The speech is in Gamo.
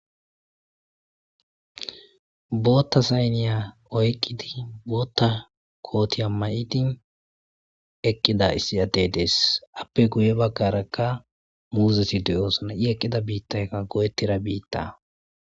Bootta saaniya oyiqqidi bootta kootiya mayidi eqqida issi addey dees. Aappe guye baggarakka muuzeti de'osona. Ii eqqida biittaykka goyettida biitta.